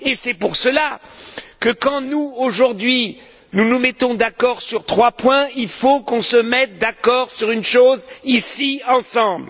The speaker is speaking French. C'est pour cela que lorsque, aujourd'hui, nous nous mettons d'accord sur trois points, il faut que nous nous mettions d'accord sur une chose, ici, ensemble.